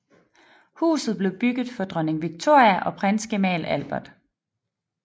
Huset blev bygget for dronning Victoria og prinsgemal Albert